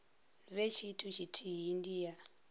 vhe tshithu tshithihi ndi ya